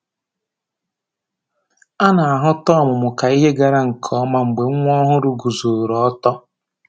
A na-ahụta ọmụmụ k'ihe gara nke ọma mgbe nwa ọhụrụ guzoro ọtọ